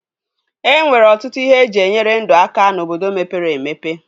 E nwere ọtụtụ ihe eji enyere ndụ aka n'obodo mepere emepe